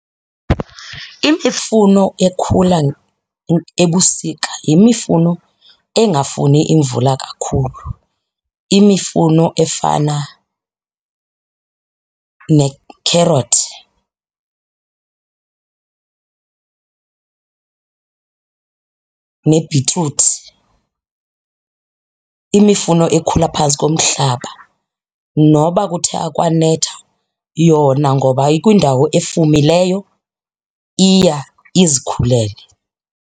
Imifuno ekhula ebusika yimifuno engafuni imvula kakhulu, imifuno efana nekherothi nebhitruthi. Imifuno ekhula phantsi komhlaba noba kuthe akwanetha yona ngoba ikwindawo efumileyo iya izikhulele.